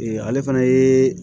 ale fana ye